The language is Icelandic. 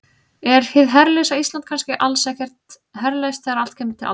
Er hið herlausa Ísland kannski alls ekkert herlaust þegar allt kemur til alls?